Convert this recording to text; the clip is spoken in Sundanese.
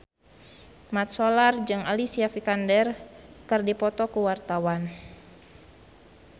Mat Solar jeung Alicia Vikander keur dipoto ku wartawan